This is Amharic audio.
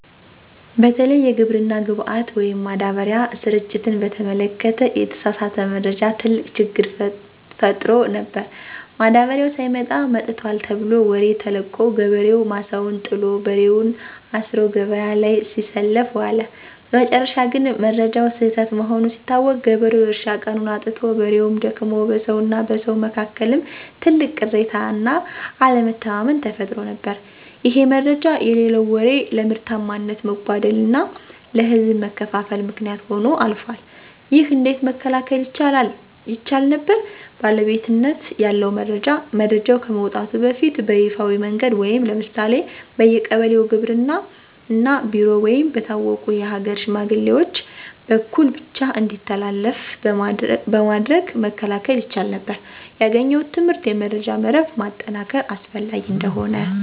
በተለይ የግብርና ግብዓት (ማዳበሪያ) ስርጭትን በተመለከተ የተሳሳተ መረጃ ትልቅ ችግር ፈጥሮ ነበር። ማዳበሪያው ሳይመጣ "መጥቷል" ተብሎ ወሬ ተለቆ፣ ገበሬው ማሳውን ጥሎ፣ በሬውን አስሮ ገበያ ላይ ሲሰለፍ ዋለ። በመጨረሻ ግን መረጃው ስህተት መሆኑ ሲታወቅ፣ ገበሬው የእርሻ ቀኑን አጥቶ፣ በሬውም ደክሞ፣ በሰውና በሰው መካከልም ትልቅ ቅሬታና አለመተማመን ተፈጥሮ ነበር። ይሄ "መረጃ የሌለው ወሬ" ለምርታማነት መጓደልና ለህዝብ መከፋፈል ምክንያት ሆኖ አልፏል። ይህ እንዴት መከላከል ይቻል ነበር? ባለቤትነት ያለው መረጃ፦ መረጃው ከመውጣቱ በፊት በይፋዊ መንገድ (ለምሳሌ በየቀበሌው ግብርና ቢሮ ወይም በታወቁ የሀገር ሽማግሌዎች) በኩል ብቻ እንዲተላለፍ በማድረግ መከላከል ይቻል ነበር። ያገኘሁት ትምህርት የመረጃ መረብ ማጠናከር አስፈላጊ እንደሆነ።